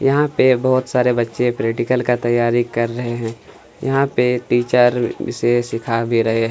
यहाँ पर बहुत सारे बच्चे प्रेक्टिकल का तैयारी कर रहै है यहाँ पे टीचर इसे सिखा भी रहै है।